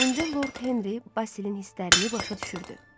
İndi Lord Henri Basilin hislərini başa düşürdü.